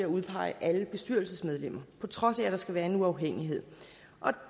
udpege alle bestyrelsesmedlemmer på trods af at der skal være uafhængighed